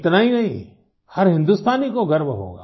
इतना ही नहीं हर हिन्दुस्तानी को गर्व होगा